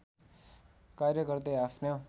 कार्य गर्दै आफ्नो